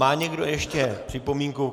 Má někdo ještě připomínku?